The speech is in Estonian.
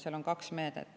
Seal on kaks meedet.